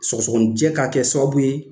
Sɔsɔanijɛ k'a kɛ sababu ye